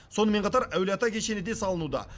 сонымен қатар әулиеата кешені де салынуда